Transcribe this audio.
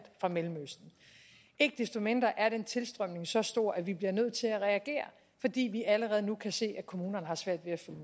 mellemøsten ikke desto mindre er den tilstrømning så stor at vi bliver nødt til at reagere fordi vi allerede nu kan se at kommunerne har svært ved at